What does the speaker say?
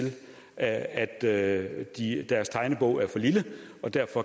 at at deres tegnebog er for lille